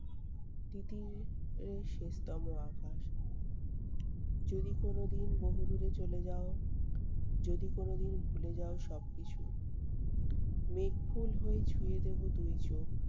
তিতির এর শেষতম আকাশ। যদি কোনোদিন বহুদূরে চলে যাও, যদি কোনোদিন ভুলে যাও সবকিছু। মেঘফুল হয়ে ছুঁয়ে দেবো দুই চোখ।